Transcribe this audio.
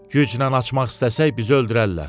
Güclə açmaq istəsək bizi öldürərlər.